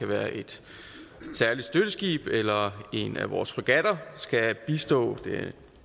være et særligt støtteskib eller en af vores fregatter skal bistå